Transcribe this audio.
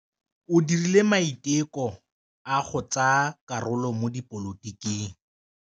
O dirile maitekô a go tsaya karolo mo dipolotiking.